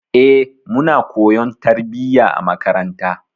Eh, muna koyon tarbiyya a makaranta.